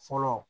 Fɔlɔ